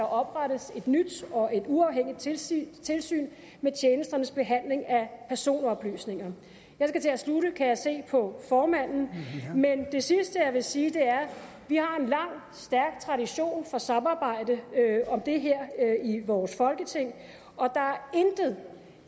oprettes et nyt og et uafhængigt tilsyn tilsyn med tjenesternes behandling af personoplysninger jeg skal til at slutte kan jeg se på formanden men det sidste jeg vil sige er vi har en lang stærk tradition for samarbejde om det her i vores folketing og der er intet